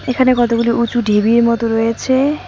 এখানে কতগুলো উঁচু ঢিবির মতো রয়েছে।